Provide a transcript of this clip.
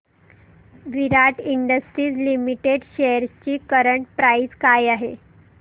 विराट industries limited shares ची current price काय आहे